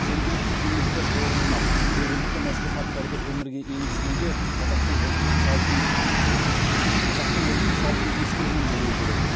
жергілікті кеңестер орнынан жергілікті мәслихаттарды өмірге енгізгенде қазақтың ұлттық салтын қазақтың ұлттық салтын ескерген болуы керек